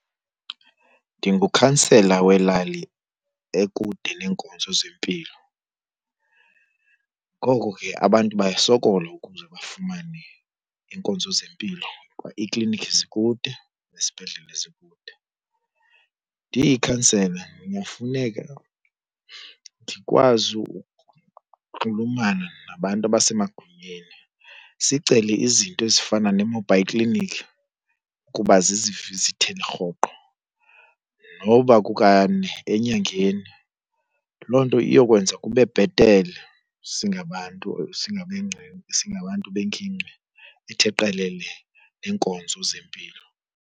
Ndingukhansela welali ekude neenkonzo zempilo, ngoko ke abantu bayasokola ukuze bafumane iinkonzo zempilo kuba iiklinikhi zikude nezibhedlele zikude. Ndiyikhansele ndingafuneka ndikwazi ukunxulumana nabantu abasemagunyeni sicele izinto ezifana nee-mobile clinic ukuba zizivizithele rhoqo noba kukane enyangeni. Loo nto iyokwenza kube bhetele singabantu , singabantu bengingqi ethe qelele neenkonzo zempilo.